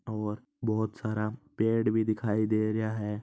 बहुत सारा पेड़ भी दिखाई दे रहा है।